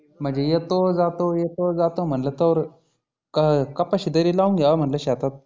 म्हणजे येतो जातो येतो जातो म्हटलं तव्हर अं कपाशी तरी लावून घ्यावा म्हटलं शेतात.